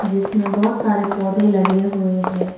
इसमें बहुत सारे पौधे लगे हुए है।